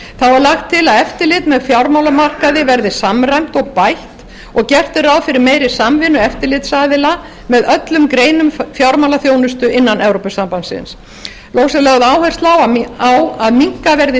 er lagt til að eftirlit með fjármálamarkaði verði samræmt og bætt og gert er ráð fyrir meiri samvinnu eftirlitsaðila með öllum greinum fjármálaþjónustu innan evrópusambandsins loks er lögð áhersla á að minnkaður verði